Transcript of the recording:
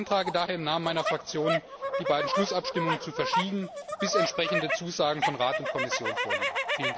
Ich beantrage daher im Namen meiner Fraktion, die beiden Schlussabstimmungen zu verschieben, bis entsprechende Zusagen von Rat und Kommission vorliegen.